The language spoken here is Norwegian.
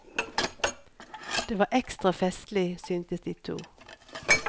Det var ekstra festlig, syntes de to.